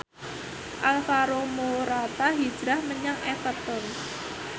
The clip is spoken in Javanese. Alvaro Morata hijrah menyang Everton